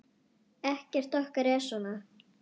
Ekkert okkar er svona.